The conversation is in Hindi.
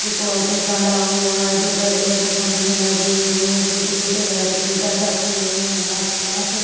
एक ऑटो खड़ा हुआ है। दो बड़े- बड़े खंबे लगे हुए है। छोटे- छोटे बेरीकेटर रखे हुए है आसपास |